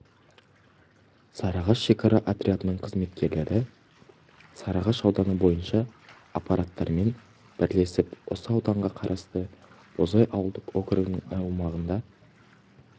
сарыағаш шекара отрядының қызметкерлері сарыағаш ауданы бойынша аппаратымен бірлесіп осы ауданға қарасты бозай ауылдық округінің аумағында